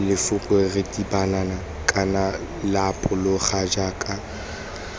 lefoko ritibala kana lapologa jaka